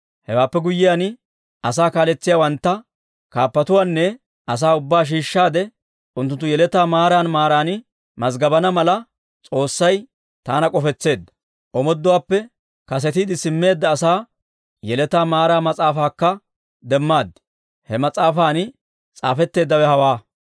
Hewaappe guyyiyaan, asaa kaaletsiyaawantta, kaappatuwaanne asaa ubbaa shiishshaade unttunttu yeletaa maaran maaran mazggabana mala, S'oossay taana k'ofisseedda. Omooduwaappe kasetiide simmeedda asaa yeletaa maaraa mas'aafaakka demmaad; he mas'aafan s'aafetteeddawe hawaa.